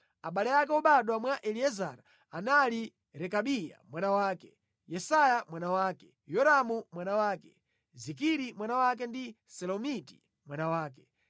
Abale ake obadwa mwa Eliezara, anali Rekabiya mwana wake, Yesaya mwana wake, Yoramu mwana wake, Zikiri mwana wake ndi Selomiti mwana wake.